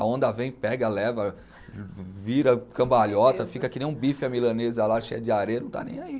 A onda vem, pega, leva, vira cambalhota, fica que nem um bife à milanesa lá, cheia de areia, não está nem aí.